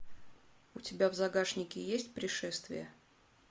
у тебя в загашнике есть пришествие